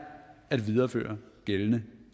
at videreføre gældende